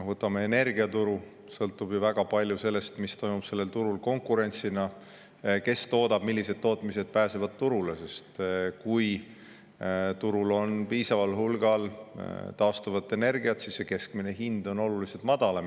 Võtame energiaturu – väga palju sõltub ju sellest, milline on konkurents sellel turul, kes toodab, millised tootmised pääsevad turule, sest kui turul on piisaval hulgal taastuvat energiat, siis on keskmine hind oluliselt madalam.